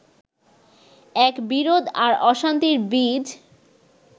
এক বিরোধ আর অশান্তির বীজ